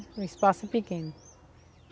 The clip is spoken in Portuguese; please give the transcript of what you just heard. O espaço é pequeno.